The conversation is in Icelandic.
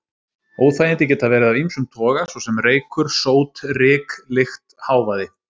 Óþægindi geta verið af ýmsum toga, svo sem reykur, sót, ryk, lykt, hávaði.